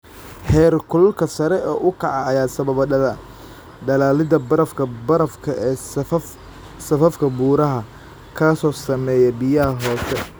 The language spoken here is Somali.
Heerkulka sare u kaca ayaa sababa dhalaalidda barafka barafka ee safafka buuraha, kaas oo saameeya biyaha hoose.